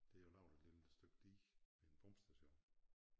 Der er lavet et lille stykke dige en pumpestation